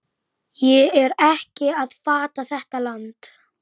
Ég er ekki að fatta þetta land.